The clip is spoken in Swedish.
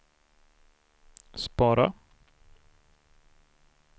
spara